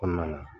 Kɔnɔna na